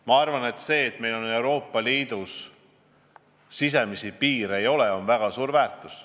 Ma arvan, et see, et Euroopa Liidus sisepiire ei ole, on väga suur väärtus.